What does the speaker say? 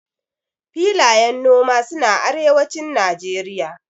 filayen noma suna arewacin nageria